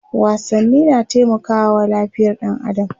wasanni na taimakawa lafiyar ɗan adam